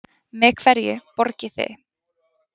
Með hverju borgiði?